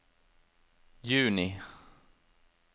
juni